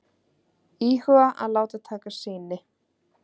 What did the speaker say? Íhuga að láta taka sýni